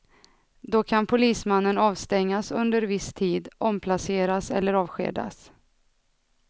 Då kan polismannen avstängas under viss tid, omplaceras eller avskedas.